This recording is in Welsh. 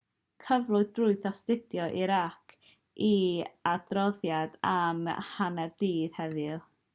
cyflwynodd grŵp astudio irac ei adroddiad am 12.00 gmt heddiw